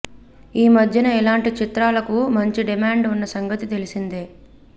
ఈ మధ్యన ఇలాంటి చిత్రాలకు మంచి డిమాండ్ ఉన్న సంగతి తెలిసిందే